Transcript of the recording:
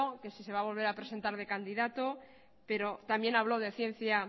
que sí se va a volver a presentar de candidato pero también habló de ciencia